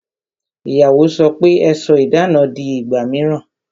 Ìyàwó sọ pe "Ẹ sọ idana di ìgbà mìíràn